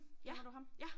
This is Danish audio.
Ja ja